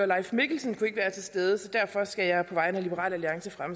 leif mikkelsen kan ikke være til stede og derfor skal jeg på vegne af liberal alliance